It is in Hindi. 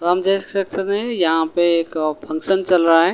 हम देख सकते हैं यहां पे एक फंक्शन चल रहा है।